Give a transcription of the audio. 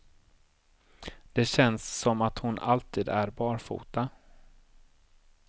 Det känns som att hon alltid är barfota.